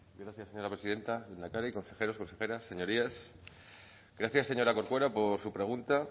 gracias señora presidenta lehendakari consejeros consejeras señorías gracias señora corcuera por su pregunta